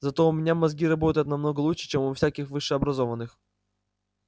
зато у меня мозги работают намного лучше чем у всяких высшеобразованных